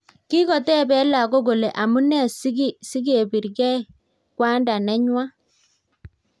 Kikotepee lagok kolee amunee sikiprgei kwandaa nenywaa